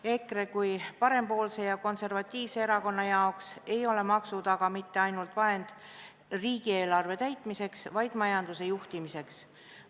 EKRE kui parempoolse ja konservatiivse erakonna jaoks ei ole maksud mitte ainult vahend riigieelarve täitmiseks, vaid ka majanduse juhtimiseks.